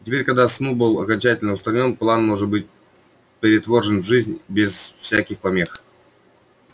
и теперь когда сноуболл окончательно устранён план может быть претворён в жизнь без всяких помех